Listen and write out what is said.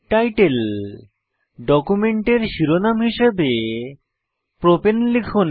title ডকুমেন্টের শিরোনাম হিসাবে প্রপাণে লিখুন